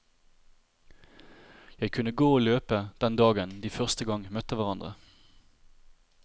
Jeg kunne gå og løpe den dagen de første gang møtte hverandre.